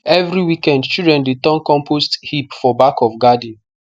every weekend children dey turn compost heap for back of garden